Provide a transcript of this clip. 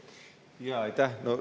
Aitäh!